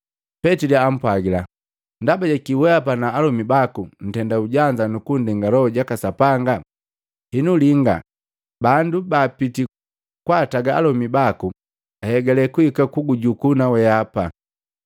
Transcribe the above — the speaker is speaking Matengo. Petili ampwagila, “Ndaba jakii wehapa na alomi baku ntenda ujanza kunndenga Loho jaka Sapanga? Henu, Linga! Bandu baapiti kwaataga alomi baku, ahegale kuhika kugujukuu na weapa!”